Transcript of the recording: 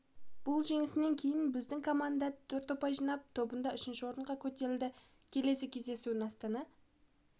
бұл жеңістен кейін біздің команда төрт ұпай жинап тобында үшінші орынға көтерілді келесі кездесуін астана